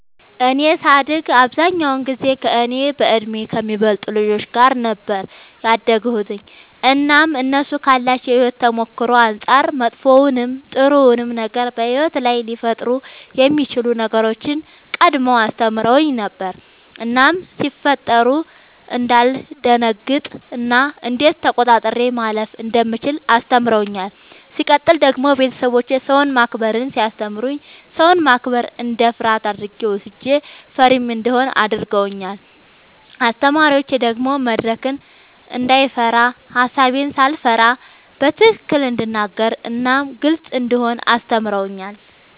እኔ ሳድግ አብዛኛውን ጊዜ ከእኔ በእድሜ ከሚበልጡ ልጆች ጋር ነበር ያደግሁትኝ እናም እነሱ ካላቸው የሕይወት ተሞክሮ አንጻር መጥፎውንም ጥሩውንም ነገር በሕይወት ላይ ሊፈጠሩ የሚችሉ ነገሮችን ቀድመው አስተምረውኝ ነበር እናም ሲፈጠሩ እንዳልደነግጥ እና እንዴት ተቆጣጥሬ ማለፍ እንደምችል አስተምረውኛል። ሲቀጥል ደግሞ ቤተሰቦቼ ሰውን ማክበርን ሲያስተምሩኝ ሰውን ማክበር እንደ ፍርሃት አድርጌ ወስጄው ፈሪም እንደሆን አድርገውኛል። አስተማሪዎቼ ደግሞ መድረክን እንዳይፈራ ሐሳቤን ሳልፈራ በትክክል እንድናገር እናም ግልጽ እንደሆን አስተምረውኛል።